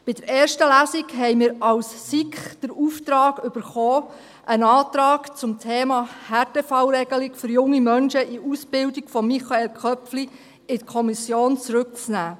Bei der ersten Lesung erhielten wir als SiK mit einem Antrag von Michael Köpfli den Auftrag, das Thema Härtefallregelung für junge Menschen in Ausbildung in die Kommission zurückzunehmen.